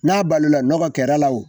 N'a balola nɔgɔ kɛr'a la o